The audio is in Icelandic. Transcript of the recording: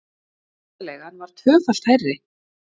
Húsaleigan var tvöfalt hærri